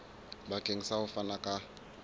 bakeng sa ho fana ka